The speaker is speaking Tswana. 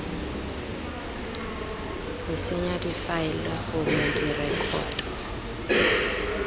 go senya difaele gongwe direkoto